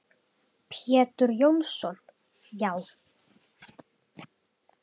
Pétur Jónsson Já.